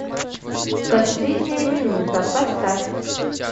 последняя минута поставь